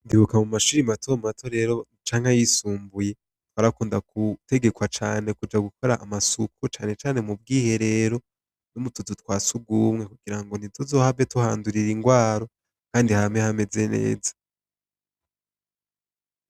Ndibuka mu mashure matomato rero canke ayisumbuye, barakunda gutegekwa cane kuja gukora amasuku, na cane cane mu bwiherero no mu tuzu twa surwumwe, kugira ngo ntituzohave tuhandurira indwara, kandi hame hameze neza.